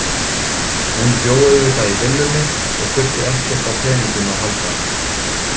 Hún bjó auðvitað í villunni og þurfti ekkert á peningum að halda.